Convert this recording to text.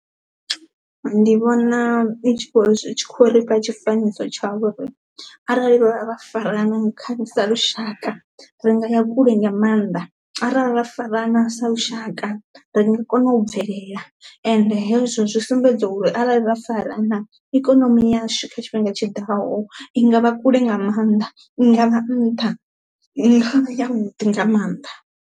Ndi vhona i tshi kho ri zwi tshi khou rifha tshifanyiso tsha uri arali ra farana kha sa lushaka ri ngaya kule nga maanḓa, arali ra farana sa lushaka ri nga kona u bvelela ende hezwo zwi sumbedza uri arali ra farana ikonomi yashu kha tshifhinga tshiḓaho i nga vha kule nga maanḓa, i ngavha nṱha, i ngavha ya vhuḓi nga maanḓa.